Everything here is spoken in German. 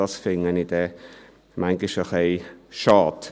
Manchmal finde ich dies ein bisschen schade.